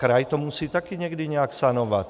Kraj to musí také někdy nějak sanovat.